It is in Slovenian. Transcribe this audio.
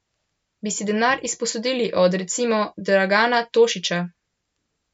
Bi si denar izposodili od, recimo, Dragana Tošića?